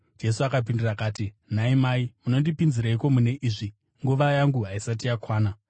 Jesu akapindura akati, “Nhai mai, munondipinzireiko mune izvi? Nguva yangu haisati yakwana.”